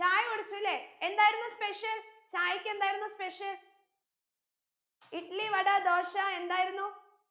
ചായ കുടിച്ചു ലെ എന്തായിരുന്നു special ചായയ്ക്ക് എന്തായിരുന്നു special ഇഡ്‌ലി വട ദോശ എന്തായിരുന്നു